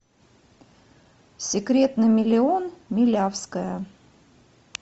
секрет на миллион милявская